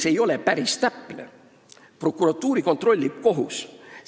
See ei ole päris täpne – prokuratuuri kontrollib kohus.